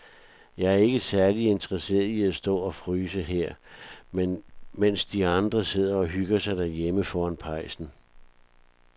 Jeg er ikke særlig interesseret i at stå og fryse her, mens de andre sidder og hygger sig derhjemme foran pejsen.